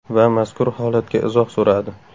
Va mazkur holatga izoh so‘radi.